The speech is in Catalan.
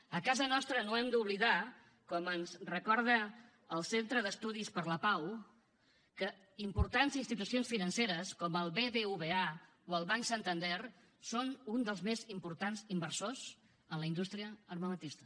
a casa nostra no hem d’oblidar com ens ho recorda el centre d’estudis per la pau que importants institucions financeres com el bbva o el banc santander són un dels més importants inversors en la indústria armamentista